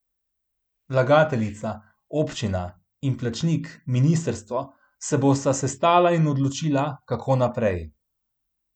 Vlagateljica, občina, in plačnik, ministrstvo, se bosta sestala in odločila, kako naprej.